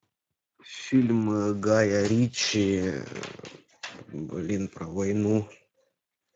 фильм гая ричи блин про войну